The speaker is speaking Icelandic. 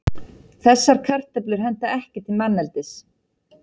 Þessar kartöflur henta ekki til manneldis.